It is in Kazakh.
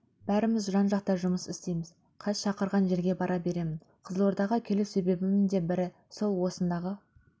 бәріміз жан-жақта жұмыс істейміз қаз шақырған жерге бара беремін қызылордаға келу себебімнің де бірі сол осындағы